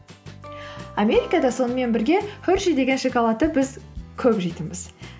америкада сонымен бірге хершей деген шоколадты біз көп жейтінбіз